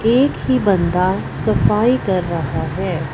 एक ही बंदा सफाई कर रहा है।